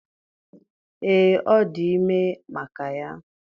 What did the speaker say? Ee, ọ dị ime maka ya